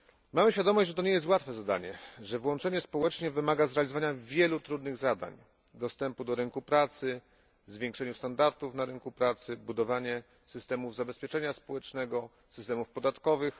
Mamy świadomość, że to nie jest łatwe zadanie, że włączenie społeczne wymaga zrealizowania wielu trudnych zadań dostępu do rynku pracy, zwiększenia standardów na rynku pracy, budowania systemów zabezpieczenia społecznego, systemów podatkowych.